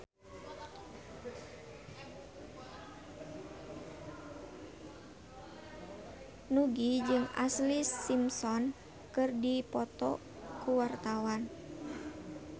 Nugie jeung Ashlee Simpson keur dipoto ku wartawan